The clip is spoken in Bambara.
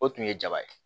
O tun ye jaba ye